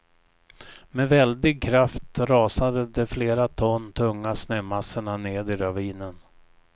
Med väldig kraft rasade de flera ton tunga snömassorna ned i ravinen.